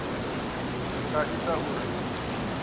zwi nga ita uri hu